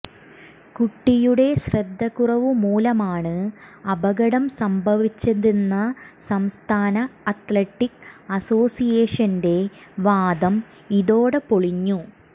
കുട്ടിയുടെ ശ്രദ്ധ കുറവുമൂലമാണ് അപകടം സംഭവിച്ചതെന്ന സംസ്ഥാന അത്ലറ്റിക് അസോസിയേഷന്റെ വാദം ഇതോടെ പൊളിഞ്ഞു